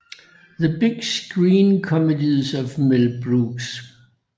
The Big Screen Comedies of Mel Brooks